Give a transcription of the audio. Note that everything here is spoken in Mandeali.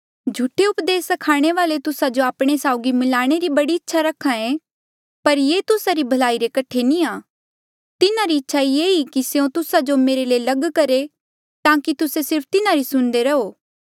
झूठे उपदेस स्खाणे वाले तुस्सा जो आपणे साउगी मिलाणे री बड़ी इच्छा रखे पर ये तुस्सा री भलाई रे कठे नी आ तिन्हारी इच्छा ये ई कि स्यों तुस्सा जो मेरे ले लग करहे ताकि तुस्से सिर्फ तिन्हारी सुणदे रहो